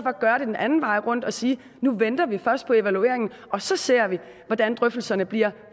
at gøre det den anden vej rundt og sige at nu venter vi først på evalueringen og så ser vi hvordan drøftelserne bliver